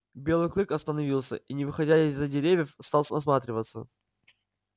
белый клык остановился и не выходя из-за деревьев стал осматриваться